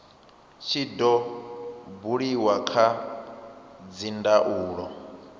tshi do buliwa kha dzindaulo